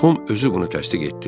Tom özü bunu təsdiq etdi.